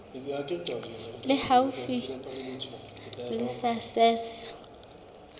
le haufi le la sars